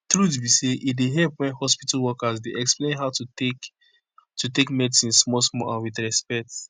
truth be say e dey help wen hospitol workers dey explain how to take to take medicine small small and with respect